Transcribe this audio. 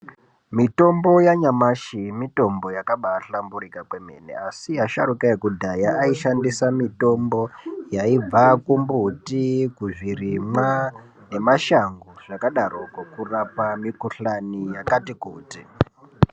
Mitombo yanyamashi mitombo yakabaahlamburika kwemene, asi asharuka ekudhaya aishandisa mitombo yaibva kumbuti kuzvirimwa nemashango zvakadaroko kurapa mikuhlani yakati kuti.